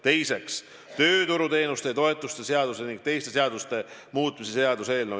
Teiseks, tööturuteenuste ja -toetuste seaduse ning teiste seaduste muutmise seaduse eelnõu.